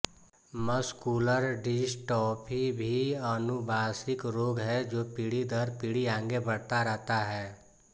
muscular dystrophy भी अनुबाशिक रोग है जो पीढी दर पीढी आगे बढ़ता रहता है